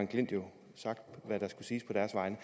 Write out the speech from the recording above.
klint jo sagt hvad der skal siges på deres vegne